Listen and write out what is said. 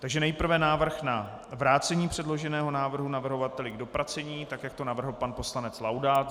Takže nejprve návrh na vrácení předloženého návrhu navrhovateli k dopracování tak, jak to navrhl pan poslanec Laudát.